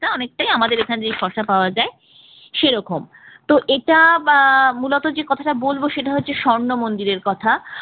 এটা অনেকটাই আমাদের এখানে যে শসা পাওয়া যায় সেরকম তো এটা বা মূলত যে কথাটা বলব সেটা হচ্ছে স্বর্ণমন্দিরের কথা